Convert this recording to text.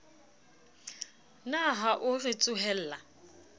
na ha o re tsohella